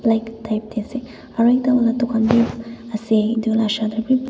light tar te ase aru ekta khan tu ase etu laga usor te bhi.